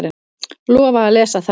Lofa að lesa þær.